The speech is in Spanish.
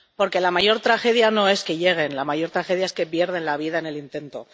Porque la mayor tragedia no es que lleguen, la mayor tragedia es que pierden la vida en el intento.